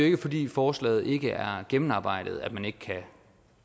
ikke fordi forslaget ikke er gennemarbejdet at man ikke kan